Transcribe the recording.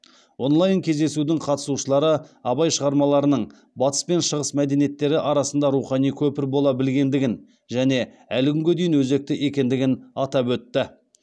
онлайн кездесудің қатысушылары абай шығармаларының батыс пен шығыс мәдениеттері арасында рухани көпір бола білгендігін және әлі күнге дейін өзекті екендігін атап өтті